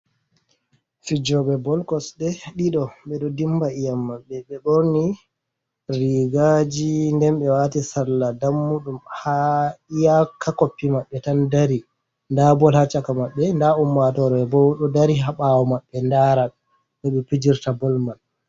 Fijoɓe bol kosɗe ɗido ɓe ɗo dimba ƴiyam maɓɓe. Ɓe ɓorni rigaaji nden ɓe waati salla dammuɗum haa iyaka koppi maɓɓe tan dari .Nda bol haa caka maɓɓe, ndaa ummatoore bo, ɗo dari haa ɓaawo maɓɓe ndara no ɓe pijirta bol man.